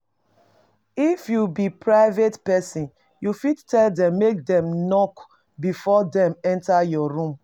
If you be private person you fit tell dem make dem knock before dem enter your room